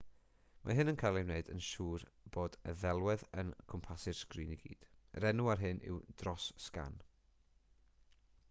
mae hyn yn cael ei wneud i wneud yn siwr bod y ddelwedd yn cwmpasu'r sgrin i gyd yr enw ar hynny yw dros-sgan